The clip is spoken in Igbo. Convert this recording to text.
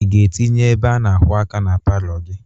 Ị ga-atinye ebe a na-akwọ aka na palọ gị?